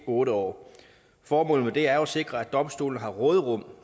otte år formålet med det er jo at sikre at domstolene har råderum